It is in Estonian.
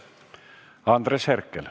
Andres Herkel.